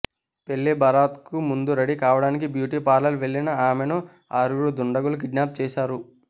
పెళ్లి బరాత్కు ముందు రెడీ కావడానికి బ్యూటీ పార్లర్కు వెళ్లిన ఆమెను ఆరుగురు దుండగులు కిడ్నాప్ చేశారు